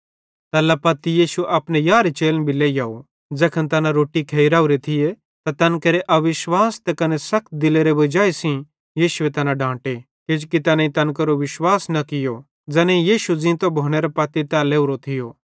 तैल्ला पत्ती यीशु अपने यारहे चेलन भी लेइहोव ज़ैखन तैना रोट्टी खेइ राओरे थिये त तैन केरे अविश्वास त कने सखत दिलेरे वजाई सेइं यीशुए तैना डांटे किजोकि तैनेईं तैन केरो विश्वास न कियो ज़ैनेईं यीशु ज़ींतो भोनेरे पत्ती तै लेवरो थियो